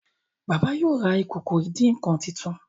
baba yíò rá Ìkòkò ìdín-nǹkan títún.